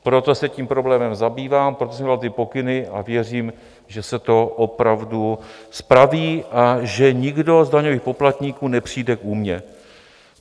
Proto se tím problémem zabývám, proto jsem dal ty pokyny a věřím, že se to opravdu spraví a že nikdo z daňových poplatníků nepřijde k újmě.